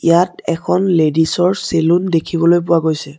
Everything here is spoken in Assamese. ইয়াত এখন লেডিছ ৰ চেলুন দেখিবলৈ পোৱা গৈছে।